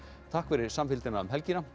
takk fyrir samfylgdina um helgina